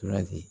Tora ten